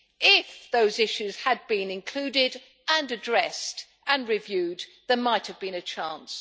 If those issues had been included, addressed and reviewed there might have been a chance.